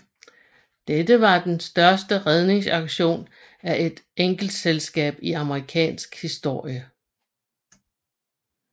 Dette var den største redningsaktion af et enkeltselskab i amerikansk historie